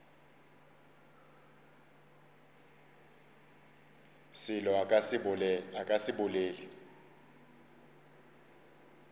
selo a ka se bolele